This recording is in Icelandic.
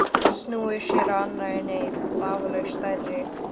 Snúið sér að annarri neyð, vafalaust stærri.